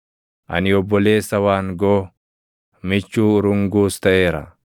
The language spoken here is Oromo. Ani obboleessa waangoo, michuu urunguus taʼeera.